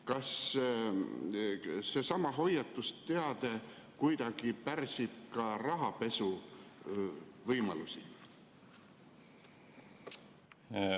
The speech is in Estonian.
Kas see hoiatusteade kuidagi pärsib ka rahapesuvõimalusi?